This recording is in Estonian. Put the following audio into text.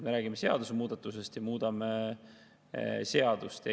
Me räägime seadusemuudatusest, me muudame seadust.